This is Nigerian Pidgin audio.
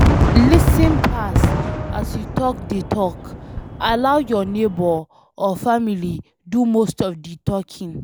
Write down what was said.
Lis ten pass as you take dey talk, allow your neigbour or family do most of di talking